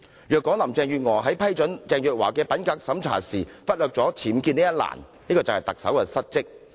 如果林鄭月娥在批准鄭若驊的品格審查報告時忽略僭建一欄，便是特首失職。